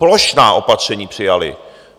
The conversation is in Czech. Plošná opatření přijaly!